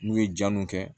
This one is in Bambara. N'u ye ja min kɛ